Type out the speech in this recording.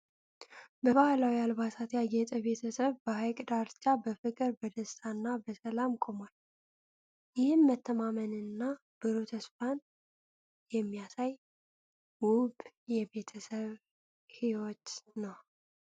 በባህላዊ አልባሳት ያጌጠ ቤተሰብ በሐይቅ ዳርቻ በፍቅር፣ በደስታ እና በሰላም ቆሟል፤ ይህም መተማመንን እና ብሩህ ተስፋን የሚያሳይ ውብ የቤተሰብ ህይወት ነው።